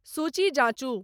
सूची जाँचु